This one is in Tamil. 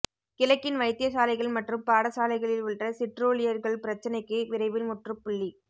கிழக்கின் வைத்தியசாலைகள் மற்றும் பாடசாலைகளில் உள்ள சிற்றூழியர்கள் பிரச்சினைக்கு விரைவில் முற்றுப்புள்ளி